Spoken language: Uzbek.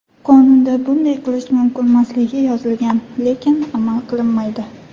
Qonunda bunday qilish mumkinmasligi yozilgan, lekin amal qilinmaydi.